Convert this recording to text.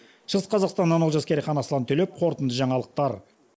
шығыс қазақстаннан олжас керейхан аслан төлепов қорытынды жаңалықтар